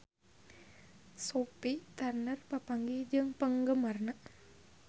Sophie Turner papanggih jeung penggemarna